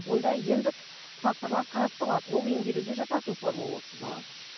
онда емдік факторлар қарастырылады ол емделуге жататын форма болып саналады